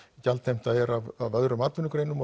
gjaldheimta er af öðrum atvinnugreinum